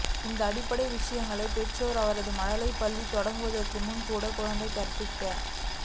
இந்த அடிப்படைத் விஷயங்களை பெற்றோர் அவரை மழலையர் பள்ளி தொடங்குவதற்கு முன்பும் கூட குழந்தை கற்பிக்க